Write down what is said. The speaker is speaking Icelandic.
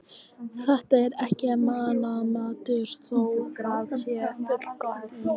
Þetta er ekki mannamatur, þó það sé fullgott í